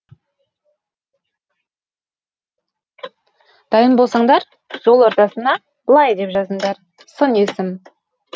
дайын болсаңдар жол ортасына былай деп жазындар сын есім